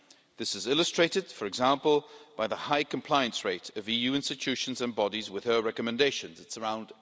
This is illustrated, for example, by the high compliance rate of EU institutions and bodies with her recommendations, which is around